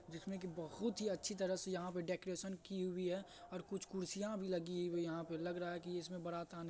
जिसमे की बहुत ही अच्छी तरह से यहां पर डेकरैशन की हुई है। और कुछ कुर्सिया भी लगी हुई है। यहां पर लग रहा है की इसमे बारात आने--